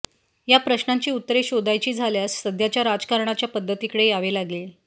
या प्रश्नांची उत्तरे शोधायची झाल्यास सध्याच्या राजकारण्याच्या पद्धतीकडे यावे लागले